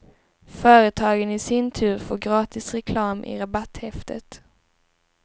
Företagen i sin tur får gratis reklam i rabatthäftet.